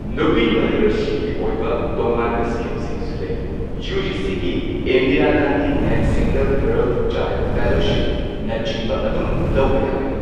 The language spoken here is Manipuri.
ꯅꯨꯄꯤ ꯃꯍꯩꯔꯣꯏꯁꯤꯡꯒꯤ ꯑꯣꯏꯕ ꯇꯣꯉꯥꯟꯕ ꯁ꯭ꯀꯤꯝꯁꯤꯡꯁꯨ ꯂꯩ꯫ ꯌꯨ ꯖꯤ ꯁꯤꯒꯤ Indira Gandhi NET single girl child ꯐꯦꯂꯣꯁꯤꯞꯅꯆꯤꯡꯕ ꯑꯗꯨꯝ ꯂꯧꯕ ꯌꯥꯒꯅꯤ꯫